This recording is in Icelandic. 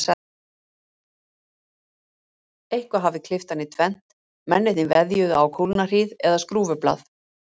Eitthvað hafði klippt hann í tvennt, mennirnir veðjuðu á kúlnahríð eða skrúfublað.